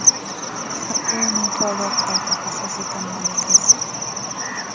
Axir bu uning faoliyatidagi asosiy tamoyilga zid.